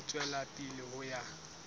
ho tswela pele ho ya